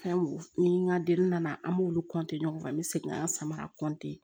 Fɛn ni n ka den nana an b'olu ɲɔgɔn kan an bɛ segin ka samara